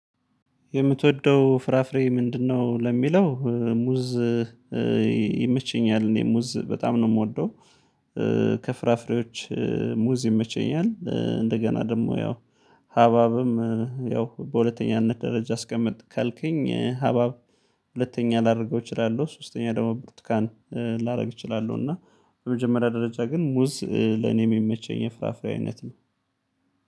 "የምትወደው ፍራፍሬ ምንድነው?" ለሚለው፤ ሙዝ ይመችኛል እኔ ሙዝ በጣም ነው የምወደው። ከፍራፍሬዎች ሙዝ ይመቸኛል። እንደገና ደግሞ ያው ሀብሀብም ያው በሁለተኛነት ደረጃ አስቀምጥ ካልከኝ ሀብሀብ ሁለተኛ ላደርገው እችላለሁ። ሶስተኛ ደግሞ ብርትኳን ላደርግ እችላለሁ እና በመጀመሪያ ደረጃ ግን ሙዝ ለኔም የሚመቸኝ የፍራፍሬ አይነት ነው።